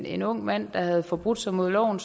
en ung mand der havde forbrudt sig mod loven